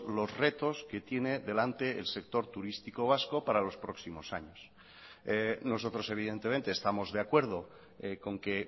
los retos que tiene delante el sector turístico vasco para los próximos años nosotros evidentemente estamos de acuerdo con que